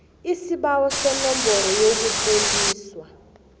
isibawo senomboro yokutloliswa